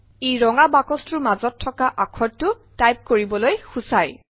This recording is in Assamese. ই ৰঙা বাকচটোৰ মাজত থকা আখৰটো টাইপ কৰিবলৈ সূচায়